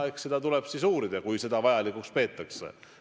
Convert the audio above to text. Eks seda tuleb siis uurida, kui seda vajalikuks peetakse.